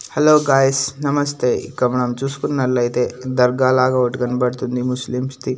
Hello guys నమస్తే ఇక్కడ మనం చూసుకున్నట్లయితే దర్గా లాగా ఒకటి కనపడుతుంది ముస్లిమ్స్ ది.